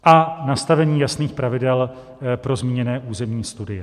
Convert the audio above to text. A nastavení jasných pravidel pro zmíněné územní studie.